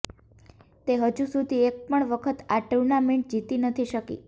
તે હજુ સુધી એક પણ વખત આ ટૂર્નામેન્ટ જીતી નથી શકી